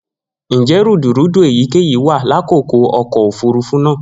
Njẹ rudurudu eyikeyi wa lakoko ọkọ ofurufu naa?